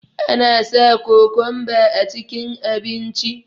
ana sa kokonba a cikin abinci